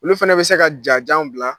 Olu fana bɛ se ka jajanw bila.